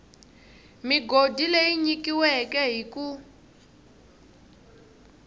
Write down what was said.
migodi leyi nyikiweke hi ku